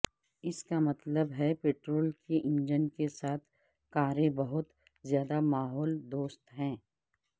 اس کا مطلب ہے پٹرول کے انجن کے ساتھ کاریں بہت زیادہ ماحول دوست ہیں